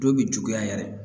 Dɔw bɛ juguya yɛrɛ